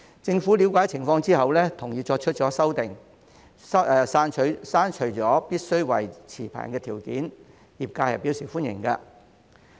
政府了解情況之後，同意作出修訂，刪除了必須為持牌人的條件，業界對此表示歡迎。